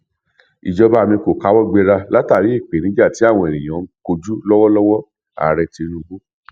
ìjọba mi kò káwọ gbera látàrí ìpèníjà tí àwọn ènìyàn ń kojú lọwọlọwọààrẹ tinubu